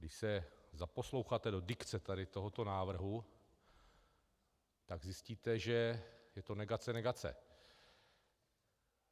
- Když se zaposloucháte do dikce tady tohoto názoru, tak zjistíte, že je to negace negace.